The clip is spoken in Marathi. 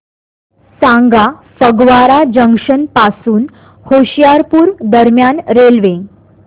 सांगा फगवारा जंक्शन पासून होशियारपुर दरम्यान रेल्वे